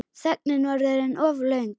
Þögnin var orðin of löng.